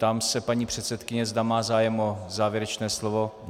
Ptám se paní předsedkyně, zda má zájem o závěrečné slovo.